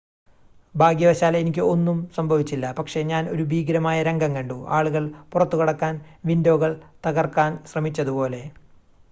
"""ഭാഗ്യവശാൽ എനിക്ക് ഒന്നും സംഭവിച്ചില്ല പക്ഷേ ഞാൻ ഒരു ഭീകരമായ രംഗം കണ്ടു ആളുകൾ പുറത്തുകടക്കാൻ വിൻഡോകൾ തകർക്കാൻ ശ്രമിച്ചതുപോലെ.